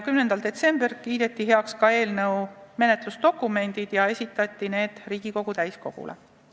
10. detsembril kiideti heaks ka eelnõu menetlusdokumendid ja esitati need Riigikogu täiskogule.